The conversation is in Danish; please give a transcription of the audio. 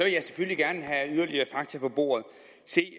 jeg selvfølgelig gerne have yderligere fakta på bordet se det